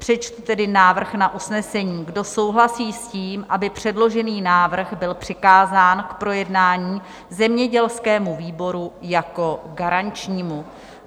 Přečtu tedy návrh na usnesení: Kdo souhlasí s tím, aby předložený návrh byl přikázán k projednání zemědělskému výboru jako garančnímu?